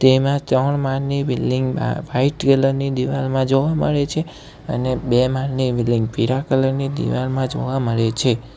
એમાં ત્રણ માળ ની બિલ્ડીંગ માં વાઈટ કલર ની દિવાલમાં જોવા મળે છે અને બે માળની બિલ્ડીંગ પીળા કલર ની દીવાલમાં જોવા મળે છે.